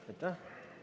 Aitäh!